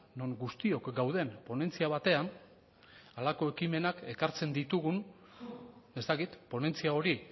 non guztiok gauden ponentzia batean halako ekimenak ekartzen ditugun ez dakit ponentzia hori